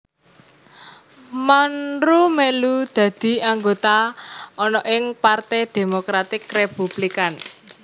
Monroe mèlu dadi anggota ana ing Parte Demokratik Republikan